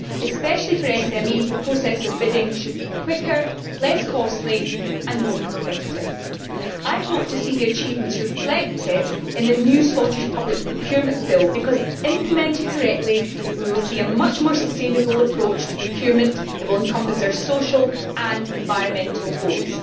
Especially for small and medium sized enterprises, the process of bidding should be quicker, less costly and more competitive. I hope to see the achievements reflected in the new Scottish Public Procurement Bill because, if they are implemented correctly, we will see a much more sustainable approach to procurement that will encompass our social and environmental goals.